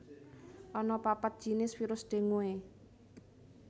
Ana papat jinis virus dengue